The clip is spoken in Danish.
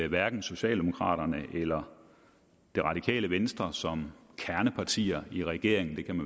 hverken socialdemokraterne eller det radikale venstre som kernepartier i regeringen det kan